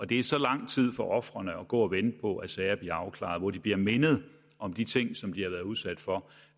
det er så lang tid for ofrene at gå og vente på at sagerne bliver afklaret hvor de bliver mindet om de ting de har været udsat for